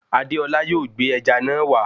Adéọlá yóò gbé ẹja náà wá